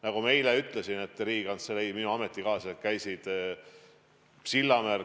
Nagu ma eile ütlesin, Riigikantselei, minu ametikaaslased käisid Sillamäel.